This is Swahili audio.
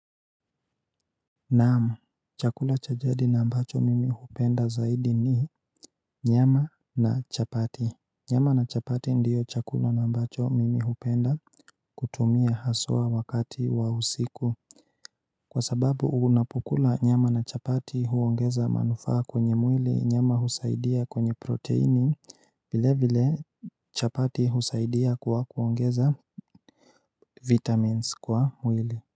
Naam, chakula cha jadi na ambacho mimi hukipenda zaidi ni nyama na chapati. Nyama na chapati ndiyo chakula na ambacho mimi hupenda kutumia haswa wakati wa usiku Kwa sababu unapokula nyama na chapati huongeza manufaa kwenye mwili nyama husaidia kwenye proteini vile vile chapati husaidia kwa kuongeza vitamins kwa mwili.